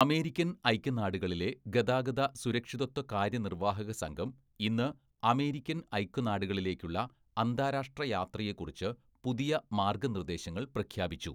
American‍ ഐക്യനാടുകളിലെ ഗതാഗത സുരക്ഷിതത്വ കാര്യനിര്‍വാഹകസംഘം ഇന്ന് അമേരിക്കന്‍ ഐക്യനാടുകളിലേക്കുള്ള അന്താരാഷ്ട്ര യാത്രയെക്കുറിച്ച് പുതിയ മാർഗ്ഗനിർദ്ദേശങ്ങൾ പ്രഖ്യാപിച്ചു.